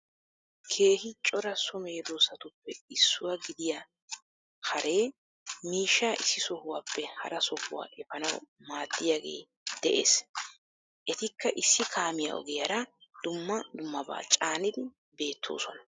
Keehi cora so meedoosatuppe issuwa gidiya haaree miishshaa issi sohuwappe haraa sohuwa eeppanawu madiyagee de7ees. Etikka issi kaamiyaa ogiyaraa dummaa dummaabaa caanidii beettosonaa.